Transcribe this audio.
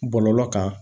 Bɔlɔlɔ kan